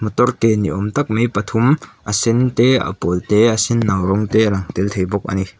tor ke ni awm tak mai pathum a sen te a pawl te a senno rawng te a lang tel thei bawk a ni.